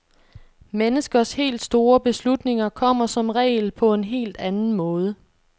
Menneskers helt store beslutninger kommer som regel på en helt anden måde.